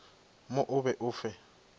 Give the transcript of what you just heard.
mo o be o fe